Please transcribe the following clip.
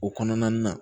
O kɔnɔna na